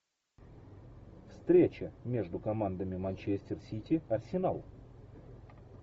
встреча между командами манчестер сити арсенал